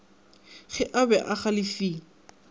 ge a be a galefile